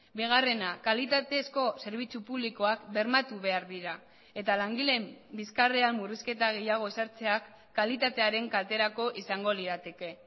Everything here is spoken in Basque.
bigarrena kalitatezko zerbitzu publikoak bermatu behar dira eta langileen bizkarrean murrizketa gehiago ezartzeak kalitatearen kalterako izango lirateke